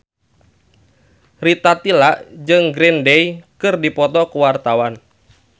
Rita Tila jeung Green Day keur dipoto ku wartawan